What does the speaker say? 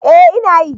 Eh ina yi